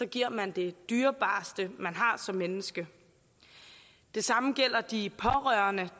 giver man det dyrebareste man har som menneske det samme gælder de pårørende